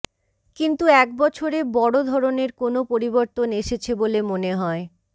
কিন্তু এক বছরে বড় ধরনের কোনো পরিবর্তন এসেছে বলে মনে হয়